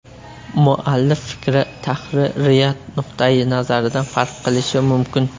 Muallif fikri tahririyat nuqtayi nazaridan farq qilishi mumkin.